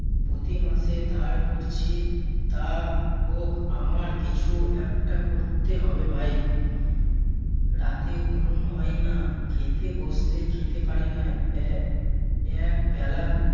প্রতি মাসে ধার করছি তা হোক আমার কিছু একটা করতে হবে ভাই। রাতে ঘুম হয় না খেতে বসলে খেতে পারি না এ~ এক বেলা